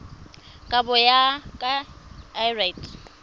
kabo go ya ka lrad